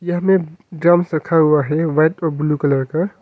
यहाँ में ड्रम्स रखा हुआ है व्हाइट और ब्लू कलर का।